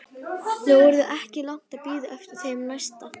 Nú yrði ekki langt að bíða eftir þeim næsta.